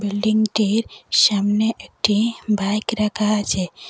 বিল্ডিংটির সামনে একটি বাইক রাখা আছে।